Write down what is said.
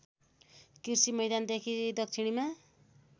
कृषि मैदानदेखि दक्षिणमा